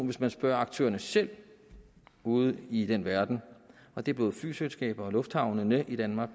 hvis man spørger aktørerne selv ude i den verden og det er både flyselskaber og lufthavne i danmark